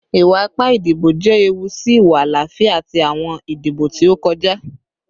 Iwa-ipa idibo jẹ ewu si iwa alaafia ti awọn idibo ti o kọja